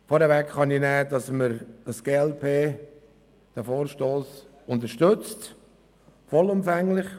Die glp unterstützt den Vorstoss vollumfänglich.